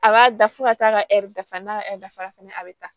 A b'a da fo ka taa ka ɛri dafa n'a ka ɛri dafa la fana a bɛ taa